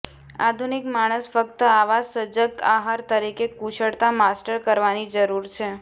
આધુનિક માણસ ફક્ત આવા સજગ આહાર તરીકે કુશળતા માસ્ટર કરવાની જરૂર છે